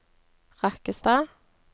Rakkestad